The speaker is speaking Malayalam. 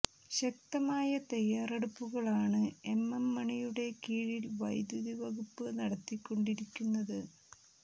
ശക്തമായ തയ്യാറെടുപ്പുകൾ ആണ് എം എം മണിയുടെ കീഴിൽ വൈദ്യുതി വകുപ്പ് നടത്തിക്കൊണ്ടിരിക്കുന്നത്